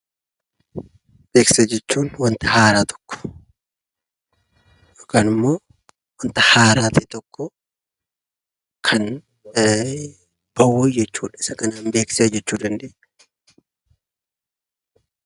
Beeksisa jechuun; wanta haaraa tokko ykn immoo wanta haaraa ta'e tokko Kan ba'u jechuudha. Isaa kanan beeksisa jechuu dandeenya.